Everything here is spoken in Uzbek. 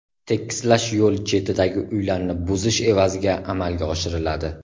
Tekislash yo‘l chetidagi uylarni buzish evaziga amalga oshiriladi.